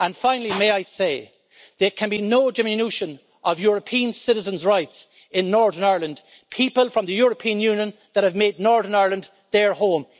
And finally, may I say there can be no diminution of European citizens' rights in Northern Ireland, people from the European Union that have made Northern Ireland their home.